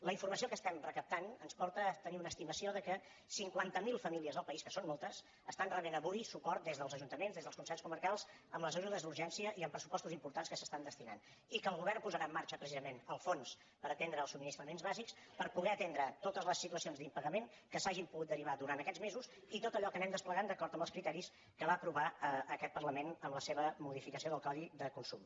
la informació que estem recaptant ens porta a tenir una estimació que cinquanta mil famílies al país que són moltes estan rebent avui suport des dels ajuntaments des dels consells comarcals amb les ajudes d’urgència i amb pressupostos importants que s’hi estan destinant i que el govern posarà en marxa precisament el fons per atendre els subministraments bàsics per poder atendre totes les situacions d’impagament que s’hagin pogut derivar durant aquests mesos i tot allò que anem desplegant d’acord amb els criteris que va aprovar aquest parlament en la seva modificació del codi de consum